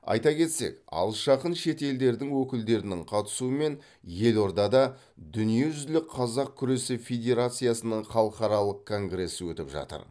айта кетсек алыс жақын шет елдердің өкілдерінің қатысуымен елордада дүниежүзілік қазақ күресі федерациясының халықаралық конгресі өтіп жатыр